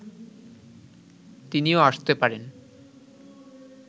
তিনিও আসতে পারেন